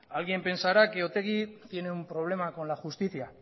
alguien pensará que otegi tiene un problema con la justicia